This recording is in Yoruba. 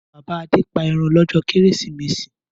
Bàbá Adé pa ẹran lọ́jọ́ Kérésìmesì.